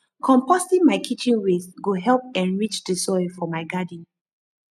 composting my kitchen waste go help enrich di soil for my garden